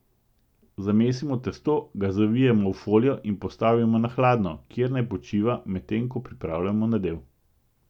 Zamesimo testo, ga zavijemo v folijo in postavimo na hladno, kjer naj počiva, medtem ko pripravljamo nadev.